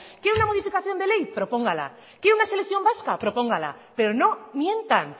quiere una modificación de ley propóngala quiere una selección vasca propóngala pero no mientan